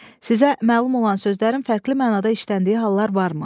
Sizə məlum olan sözlərin fərqli mənada işləndiyi hallar varmı?